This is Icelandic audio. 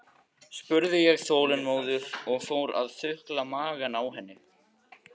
spurði ég óþolinmóður og fór að þukla magann á henni.